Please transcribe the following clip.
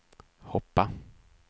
hoppa